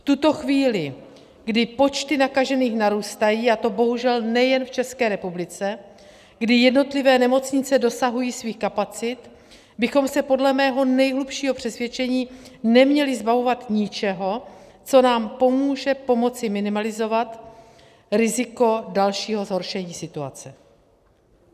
V tuto chvíli, kdy počty nakažených narůstají, a to bohužel nejen v České republice, kdy jednotlivé nemocnice dosahují svých kapacit, bychom se podle mého nejhlubšího přesvědčení neměli zbavovat ničeho, co nám pomůže pomoci minimalizovat riziko dalšího zhoršení situace.